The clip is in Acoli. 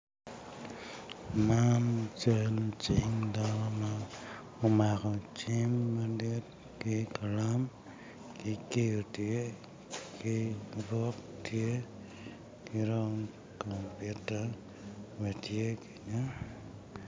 Man cing dano ma omako cim madit ki kalam ki kiyo tye ki buk tye ki dong compita be tye kenyo